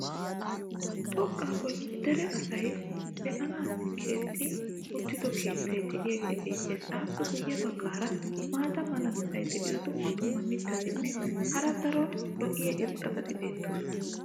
xoqaa boli dere asay be'anaassi keexetti uttida keettay diyaagee beetees. appe guye bagaara maata mala meray diyo dumma dumma mitatinne hara daro lo'iya irxxabati beetoosona.